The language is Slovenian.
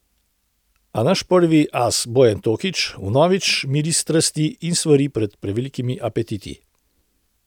A naš prvi as Bojan Tokič vnovič miri strasti in svari pred prevelikimi apetiti.